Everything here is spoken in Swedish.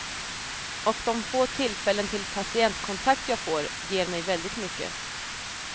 Och de få tillfällen till patientkontakt jag får ger mig väldigt mycket.